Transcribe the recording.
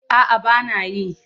A'a ba na yi.